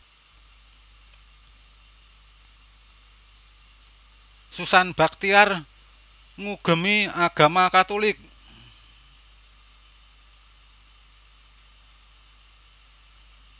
Susan Bachtiar ngugemi agama Katulik